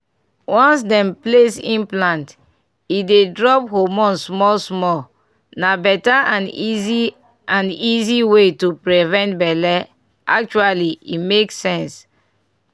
once dem place implant e dey drop hormone small-small na better and easy and easy way to prevent belle. actually e make um sense!